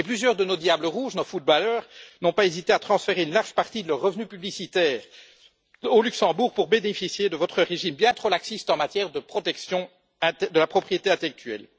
Et plusieurs de nos Diables rouges, nos footballeurs, n'ont pas hésité à transférer une large partie de leurs revenus publicitaires au Luxembourg pour bénéficier de votre régime, bien trop laxiste, en matière de protection de la propriété intellectuelle.